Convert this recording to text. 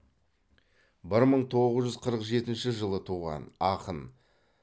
бір мың тоғыз жүз қырық жетінші жылы туған ақын